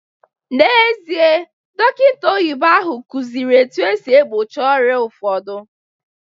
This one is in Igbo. N'ezie, dọkịta oyibo ahụ kụziri etu esi egbochi ọrịa ụfọdụ